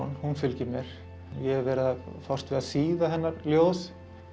hún fylgir mér ég hef verið að fást við að þýða hennar ljóð